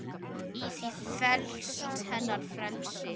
Í því felst hennar frelsi.